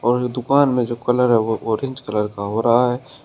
और जो दुकान में जो कलर है वो ऑरेंज कलर का हो रहा है।